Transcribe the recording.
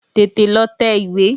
Tètè lọ tẹ ìwé!